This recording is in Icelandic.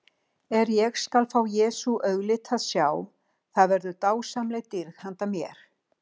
Er ég skal fá Jesú auglit að sjá, það verður dásamleg dýrð handa mér.